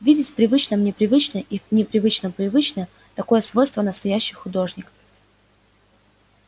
видеть в привычном непривычное и в непривычном привычное такое свойство настоящий художник